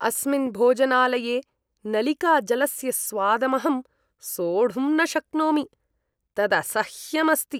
अस्मिन् भोजनालये नलिकाजलस्य स्वादमहं सोढुं न शक्नोमि, तदसह्यम् अस्ति।